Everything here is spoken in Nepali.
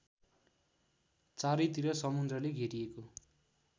चारैतिर समुद्रले घेरिएको